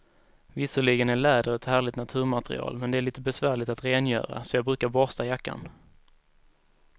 Visserligen är läder ett härligt naturmaterial, men det är lite besvärligt att rengöra, så jag brukar borsta jackan.